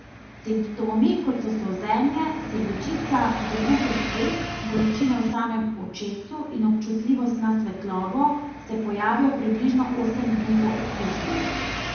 Simptomi, kot so solzenje, srbečica, zabuhlost vek, bolečine v samem očesu in občutljivost na svetlobo, se pojavijo približno osem dni po okužbi.